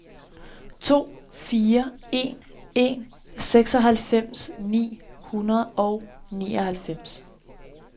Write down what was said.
to fire en en seksoghalvfems ni hundrede og nioghalvfems